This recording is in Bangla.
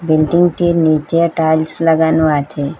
বিল্ডিংটির নীচে টাইলস লাগানো আছে।